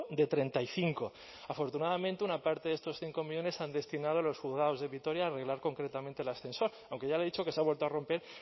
de treinta y cinco afortunadamente una parte de estos cinco millónes se han destinado a los juzgados de vitoria a arreglar concretamente el ascensor aunque ya le he dicho que se ha vuelto a romper